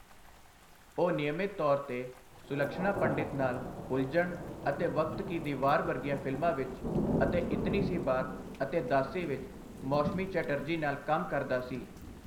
ਉਹ ਨਿਯਮਿਤ ਤੌਰ 'ਤੇ ਸੁਲਕਸ਼ਨਾ ਪੰਡਿਤ ਨਾਲ 'ਉਲਝਣ' ਅਤੇ 'ਵਕਤ ਕੀ ਦੀਵਾਰ' ਵਰਗੀਆਂ ਫਿਲਮਾਂ ਵਿੱਚ ਅਤੇ 'ਇਤਨੀ ਸੀ ਬਾਤ' ਅਤੇ 'ਦਾਸੀ' ਵਿੱਚ ਮੌਸ਼ਮੀ ਚੈਟਰਜੀ ਨਾਲ ਕੰਮ ਕਰਦਾ ਸੀ।